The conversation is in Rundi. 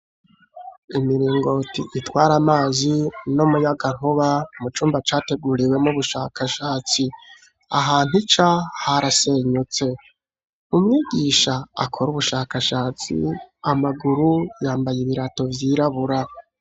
Imiringoti itwara amazi n'umuyagankuba mu cumba categuriwemwo ubushakashatsi, ahantu ica harasenyutse, umwigisha akora ubushakashatsi amaguru yambaye ibirato vyirabura.